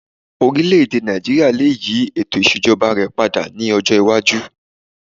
Orílẹ̀-èdè Nàìjííríà lè yí ètò ìṣèjọba rẹ̀ padà ní ọjọ́ iwájú